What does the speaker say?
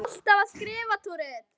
Ertu alltaf að skrifa?